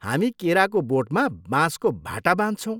हामी केराको बोटमा बाँसको भाटा बाँध्छौँ।